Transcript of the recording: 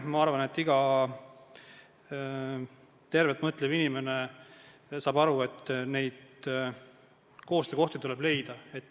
Ma arvan, et iga tervelt mõtlev inimene saab aru, et koostöökohti tuleb leida.